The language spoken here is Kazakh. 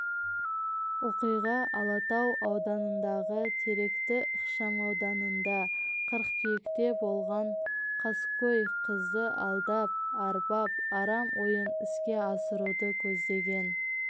оқиға алатау ауданындағы теректі ықшамауданында қыркүйекте болған қаскөй қызды алдап арбап арам ойын іске асыруды көздеген